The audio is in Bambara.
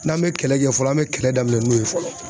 N'an me kɛlɛ kɛ fɔlɔ an me kɛlɛ daminɛ n'o ye fɔlɔ